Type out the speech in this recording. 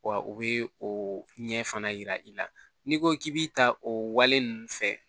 Wa o bɛ o ɲɛ fana yira i la n'i ko k'i bɛ ta o wale ninnu fɛ